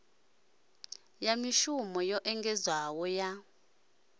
ya mishumo yo engedzeaho ya